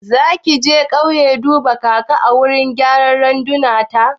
Zaki je kauye duban kaka a wurin gyaran randunar ta?